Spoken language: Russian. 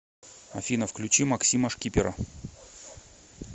афина включи максима шкипера